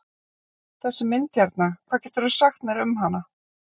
Þessi mynd hérna, hvað geturðu sagt mér um hana?